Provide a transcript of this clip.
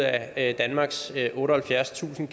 af danmarks otteoghalvfjerdstusind